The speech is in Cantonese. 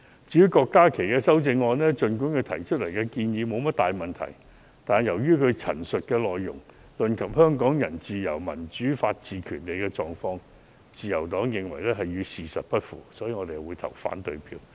至於郭家麒議員的修正案，儘管他提出的建議沒有大問題，但由於他陳述的內容論及香港人自由、民主、法治及權利的狀況，自由黨認為與事實不符，所以，我們會投反對票。